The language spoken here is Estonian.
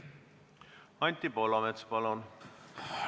Anti Poolamets, palun!